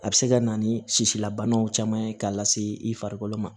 A bɛ se ka na ni sisi la banaw caman ye k'a lase i farikolo ma